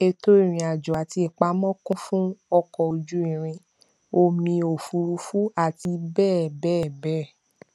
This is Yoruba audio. ètò ìrìnàjò àti ìpamọ kún fún ọkọ ojú irin omi òfuurufú àti bẹẹ bẹẹ bẹẹ